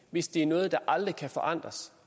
hvis det er noget der aldrig kan forandres